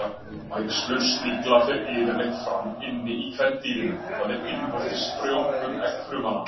Æxlun snigla fer yfirleitt fram inni í kvendýrinu, það er innvortis frjóvgun eggfrumanna.